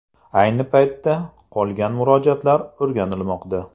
Ayni paytda qolgan murojaatlar o‘rganilmoqda.